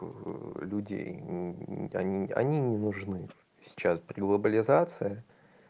люди они они не нужны сейчас при глобализации